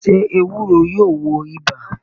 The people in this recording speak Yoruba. Sé ewúro yóò wo ibà?